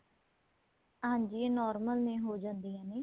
ਹਾਂਜੀ ਇਹ normal ਨੇ ਹੋ ਜਾਂਦੀਆਂ ਨੇ